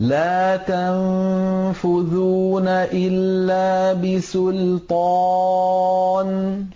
لَا تَنفُذُونَ إِلَّا بِسُلْطَانٍ